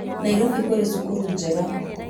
Nairobi kũrĩ cukuru njega